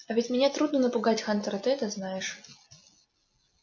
а ведь меня трудно напугать хантер и ты это знаешь